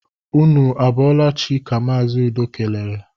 Ụnụ a bọọla chi! ka Mazi Udo kelere